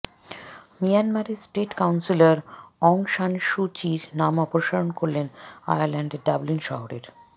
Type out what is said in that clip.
মিয়ানমারের state councillor Aung San Suu চির নাম অপসারণ করলেন আয়ারল্যান্ডের ডাবলিন শহরের